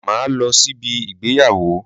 Máa lọ síbi ìgbéyàwó